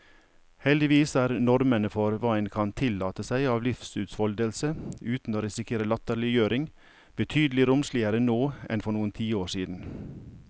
Heldigvis er normene for hva en kan tillate seg av livsutfoldelse uten å risikere latterliggjøring, betydelig romsligere nå enn for noen tiår siden.